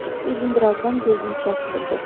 Corc Uzundurazdan gözünü çəkmirdi.